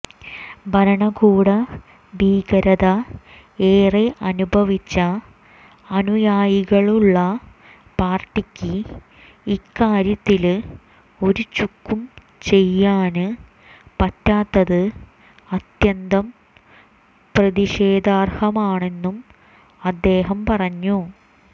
ഭരണകൂട ഭീകരത ഏറെ അനുഭവിച്ച അനുയായികളുള്ള പാര്ട്ടിക്ക് ഇക്കാര്യത്തില് ഒരു ചുക്കും ചെയ്യാന് പറ്റാത്തത് അത്യന്തം പ്രതിഷേധാര്ഹമാണെന്നും അദ്ദേഹം പറഞ്ഞു